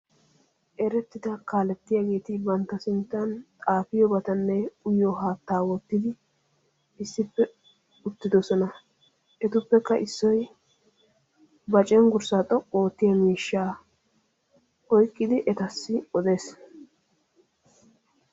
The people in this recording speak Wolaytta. Erettida kaalettiyageeti bantta sinttan xaafiyobatanne uyiyo haattaa wottidi issippe uttidosona. Etuppekka issoy ba cenggurssaa xoqqu oottiya miishahaa oyqqidi etassi odees.